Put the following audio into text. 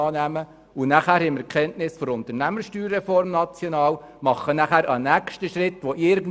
Wenn wir dann Kenntnis von der nationalen USR haben, wird in irgendeiner Form ein nächster Schritt fällig sein.